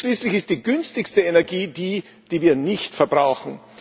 Denn schließlich ist die günstigste Energie die, die wir nicht verbrauchen.